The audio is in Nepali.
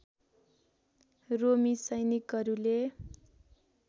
रोमी सैनिकहरूले